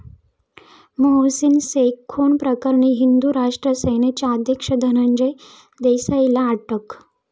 मोहसीन शेख खून प्रकरणी हिंदू राष्ट्र सेनेचा अध्यक्ष धनंजय देसाईला अटक